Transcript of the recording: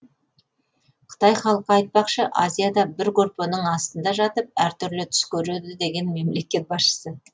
қытай халқы айтпақшы азияда бір көрпенің астында жатып әртүрлі түс көреді деген мемлекет басшысы